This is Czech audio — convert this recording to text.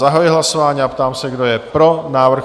Zahajuji hlasování a ptám se, kdo je pro návrh?